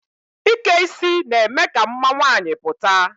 Ike isi na-eme ka mma nwaanyị pụta.